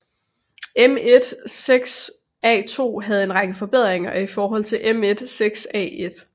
M16A2 havde en række forbedringer i forhold til M16A1